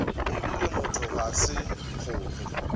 ebile motho ga se kgomo